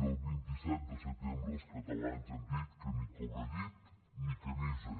i el vint set de setembre els catalans han dit que ni cobrellit ni camisa